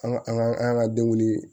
An ka an ka an ka denw